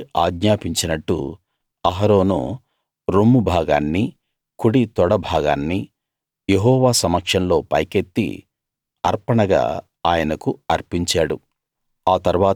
మోషే ఆజ్ఞాపించినట్టు అహరోను రొమ్ము భాగాన్నీ కుడి తొడ భాగాన్నీ యెహోవా సమక్షంలో పైకెత్తి అర్పణగా ఆయనకు అర్పించాడు